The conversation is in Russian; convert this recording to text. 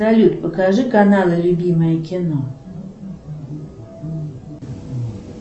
салют покажи каналы любимое кино